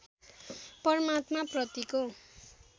परमात्मा प्रतिको